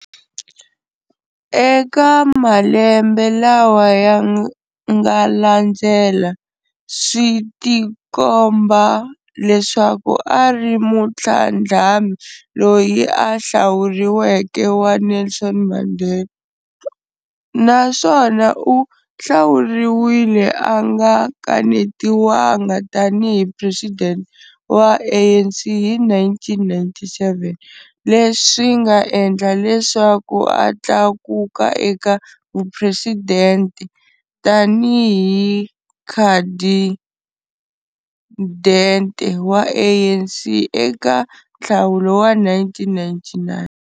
Eka malembe lawa yanga landzela, switikomba leswaku ari mutlhandlami loyi a hlawuriweke wa Nelson Mandela, naswona u hlawuriwile anga kanetiwanga tani hi president wa ANC hi 1997, leswinga endla leswaku a tlakuka eka vupresidente tani hi khadindete wa ANC eka nhlawulo wa 1999.